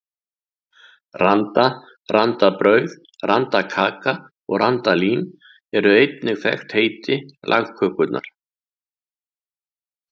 Randa, randabrauð, randakaka og randalín eru einnig þekkt heiti lagkökunnar.